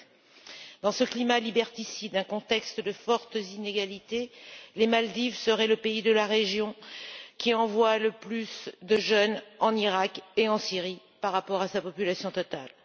7. Dans ce climat liberticide et ce contexte de fortes inégalités, les Maldives seraient le pays de la région qui envoie le plus de jeunes en Iraq et en Syrie, par rapport à sa population totale.